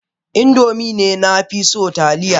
Indomie ne na fi so Taliya.